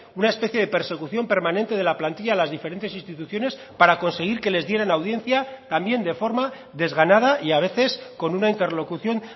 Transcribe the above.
una especie de persecución permanente de la plantilla a las diferentes instituciones para conseguir que les dieran audiencia también de forma desganada y a veces con una interlocución